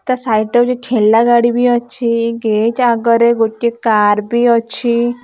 ତା ସାଇଡ୍‌ ଗୋଟେ ଠେଲା ଗାଡି ବି ଅଛି ଗେଟ୍‌ ଆଗରେ ଗୋଟେ କାର୍‌ ବି ଅଛି ।